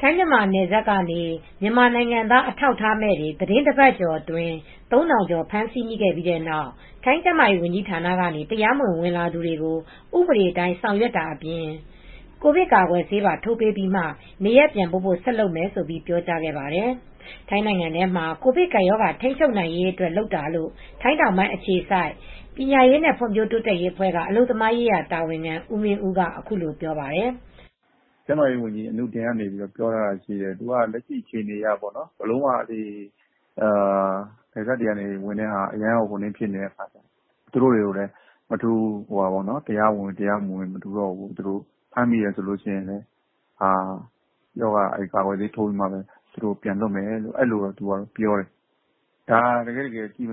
ထိုင်းမြန်မာနယ်စပ်ကနေ မြန်မာနိုင်ငံသား အထောက်အထားမဲ့တွေ သီတင်းတပတ်ကျော်အတွင်း ၃၀၀၀ ကျော်ဖမ်းမိခဲ့ပြီးနောက် ထိုင်းကျန်းမာရေးဝန်ကြီးဌာနကနေ တရားမဝင်ဝင်လာသူတွေကို ဥပဒေအတိုင်းဆောင်ရွက်တာအပြင် ကိုဗစ်ကာကွယ်ဆေးပါထိုးပေးပြီးမှ နေရပ်ပြန်ပို့ဖို့ ဆက်လုပ်မယ်လို့ ပြောကြားခဲ့ပါတယ်။ ထိုင်းနိုင်ငံထဲမှာ ကိုဗစ်ကပ်ရောဂါ ထိန်းချုပ်နိုင်ရေးအတွက် လုပ်တာလို့ ထိုင်းတောင်ပိုင်းအခြေစိုက် ပညာရေးနဲ့ ဖွံဖြိုးတိုးတက်ရေးအဖွဲ့က အလုပ်သမားရေးရာတာဝန်ခံ ဦးမင်းဦးက အခုလိုပြောပါတယ်။ "ကျန်းမာရေးဝန်ကြီး အနုတင် ကပြောတာရှိတယ် လက်ရှိအခြေအနေအရ နယ်စပ်တွေက ဝင်တာတအားများတော့ မထူးတော့ဘူး သူတို့တွေကိုလည်းတရားဝင်ဝင် တရားမဝင်ဝင် ဖမ်းမိရင် ကာကွယ်ဆေးထိုးပြီးမှ ပြန်လွှတ်မယ်လို့ပြောတယ် ။ တကယ်တော့အဲဒါကို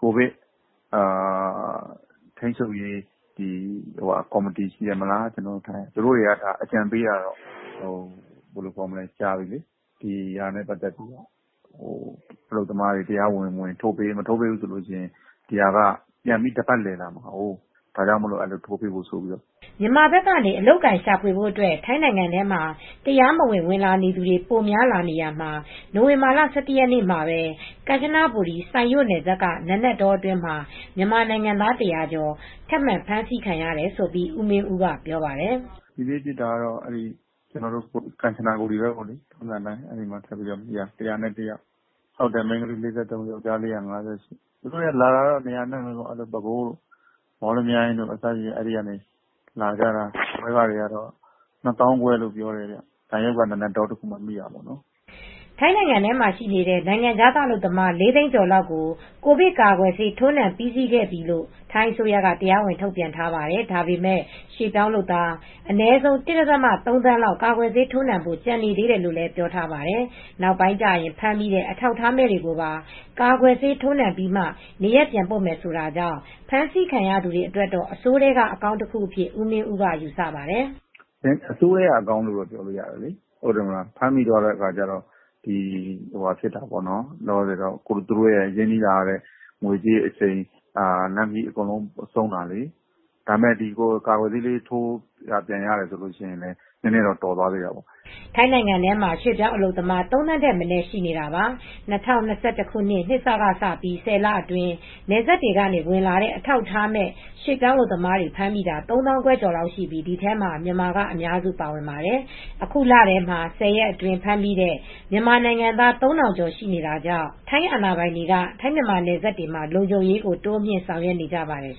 ကိုဗစ်ထိမ်းချုပ်ရေးကော်မတီကအကြံပေးတာကြာပြီ အလုပ်သမားတွေ တရားမဝင် တရားဝင်ဝင် ထိုးပေးပေါ့။ ပြန်မထိုးပေးရင် ကပ်ဘေးက တပတ်လည်လာမယ်ပေါ့ ။ ဒါကြောင့် ဆေးထိုးပေးဖို့ပေါ့ " မြန်မာဘက်ကနေ အလုပ်အကိုင်ရှာဖွေဖို့အတွက် ထိုင်းနိုင်ငံထဲ တရားမဝင် ဝင်လာနေသူတွေ ပိုများလာနေတာမှာ နိုဝင်ဘာလ ၁၁ ရက်နေမှာပဲ ကမ်ချနဘူရီ စိုင်ယို့နယ်စပ်က နာနတ်တောအတွင်းမှာမြန်မာနိုင်ငံသား ၁၀၀ ကျော် ထပ်မံဖမ်းဆီးခံရတယ်လို့ဦးမင်းဦးကပြောပါတယ်။ "ဒီနေ့ဖြစ်တာကတော့ ကမ်ချနဘူရီ မှာ ဖမ်းမိတာ လူ၁၀၁ယောက် ။ မိန်းကလေးက ၄၃ယောက် ။ ယောက်ကျားလေးက ၅၈ယောက်။ သူတိုလာတာကတော့နေရာအနှံ့ပဲ။ ပဲခူးတို့ မော်လမြိုင်တို့ ဘက်ကလာတာ။ ပွဲစားခက ၂သောင်းခွဲလောက်ပေးရတယ်။ စိုင်ယို့က နာနတ်တောမှာဖမ်းမိတာ" ထိုင်းနိုင်ငံထဲမှာရှိနေတဲ့ နိုင်ငံခြားသား အလုပ်သမား၄သိန်းကျော်လောက် က ိုဗစ်ကာကွယ်ဆေး ထိုးနှံပြီးစီးခဲ့ပြီးလို့ ထိုင်းအစိုးရက တရားဝင်ထုတ်ပြန်ထားပါတယ်။ ဒါပေမဲ့ ရွှေ့ပြောင်းလုပ်သား အနည်းဆုံး ၁ ဒသမ ၃ သန်းလောက် ကာကွယ်ဆေးထိုးနှံဖို့ ကျန်နေသေးတယ်လို့ လည်းပြောထားပါတယ်။ နောက်ပိုင်းကျရင် ဖမ်းမိတဲ့ အထောက်အထားမဲ့တွေကိုပါ ကာကွယ်ဆေးထိုးနှံပြီးမှ နေရပ်ပြန်ပို့မယ်ဆိုတာကြောင့် ဖမ်းဆီးခံရသူတွေအတွက်တော့ အဆိုးထဲကအကောင်းတခုအဖြစ် ဦးမင်းဦးကယူဆပါတယ် ။ "အဆိုးထဲကအကောင်းလို့ပြောလို့ရတယ်။ ဖမ်းမိသွားတော့သူတို့ငွေကြေးအချိန်တွေအားလုံးဆုံးရှုံးတာလေ။ ဒါပေမယ့် ကာကွယ်ဆေးလေးထိုးတာ ပြန်ရတယ်ဆိုရင်တော့ နည်းနည်းလေးတော်သွားသေးတာပေါ့ " ထိုင်းနိုင်ငံမှာမြန်မာရွှေပြောင်းအလုပ်သမား ၃ သန်းထက်မနည်းရှိနေတာပါ။ ၂၀၂၁ နှစ်စကစပြီး ၁၀ လအတွင်း နယ်စပ်တွေကနေ ဝင်လာတဲ့အထောက်အထားမဲ့ ရွှေပြောင်းအလုပ်သမားတွေ ဖမ်းမိတာ ၃သောင်းခွဲကျော်လောက်ရှိပြီး ဒီထဲမှာမြန်မာအများစုပါဝင်ပါတယ်။ အခုလထဲမှာ ၁၀ ရက်အတွင်းဖမ်းမိတဲ့မြန်မာနိုင်ငံသား ၃၀၀၀ ကျော်ရှိတာကြောင့် ထိုင်းအာဏာပိုင်တွေက ထိုင်းမြန်မာနယ်စပ်တွေမှာ လုံခြုံရေးကို တိုးမြှင့်ဆောင်ရွက်နေကြပါတယ်